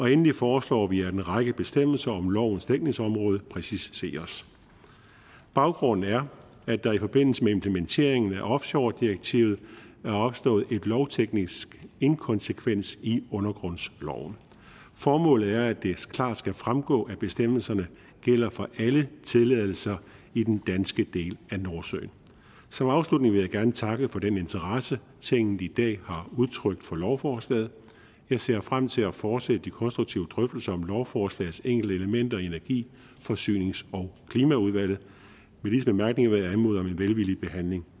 endelig foreslår vi at en række bestemmelser om lovens dækningsområde præciseres baggrunden er at der i forbindelse med implementeringen af offshoredirektivet er opstået en lovteknisk inkonsekvens i undergrundsloven formålet er at det klart skal fremgå at bestemmelserne gælder for alle tilladelser i den danske del af nordsøen som afslutning vil jeg gerne takke for den interesse tinget i dag har udtrykt for lovforslaget jeg ser frem til at fortsætte de konstruktive drøftelser om lovforslagets enkelte elementer i energi forsynings og klimaudvalget med disse bemærkninger vil jeg anmode om en velvillig behandling